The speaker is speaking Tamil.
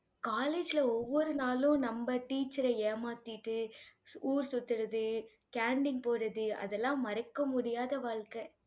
college ல ஒவ்வொரு நாளும், நம்ம teacher அ ஏமாத்திட்டு ஊர் சுத்துறது canteen போறது, அதெல்லாம் மறக்க முடியாத வாழ்க்கை.